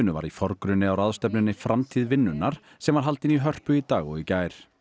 var í forgrunni á ráðstefnunni framtíð vinnunnar sem var haldin í Hörpu í dag og í gær